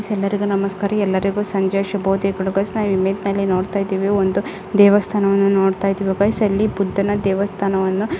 ಎಲರಿಗೂ ನಮಸ್ಕಾರ ಎಲ್ಲರಿಗೂ ಸಂಜೆಯ ಶುಭೋದಯಗಳು ಗಯಸ್ ನಾವು ಇಮೇಜ್ನಲ್ಲಿ ನೋಡ್ತಾ ಇದ್ದೇವೆ ಒಂದು ದೇವಸ್ಥಾನವನ್ನು ನೋಡ್ತಾಯಿದ್ದೇವೆ ಗಯಸ್ ಅಲ್ಲಿ ಬುದ್ಧನ ದೇವಸ್ಥಾನವನ್ನು.